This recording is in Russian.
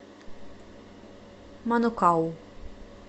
манукау